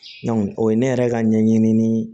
o ye ne yɛrɛ ka ɲɛɲini